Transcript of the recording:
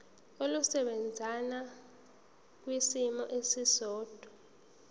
olusebenza kwisimo esiqondena